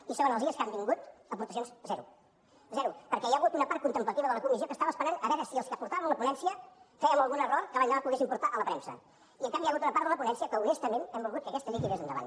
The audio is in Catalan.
i segona els dies que han vingut aportacions zero zero perquè hi ha hagut una part contemplativa de la comissió que estava esperant a veure si els que portàvem la ponència fèiem algun error que l’endemà poguessin portar a la premsa i en canvi hi ha hagut una part de la ponència que honestament hem volgut que aquesta llei tirés endavant